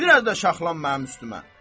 Bir az da şaxlan mənim üstümə.